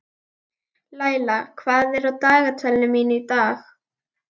Laila, hvað er á dagatalinu mínu í dag?